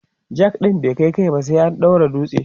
jack ɗin bai kaiba sai an daura dutse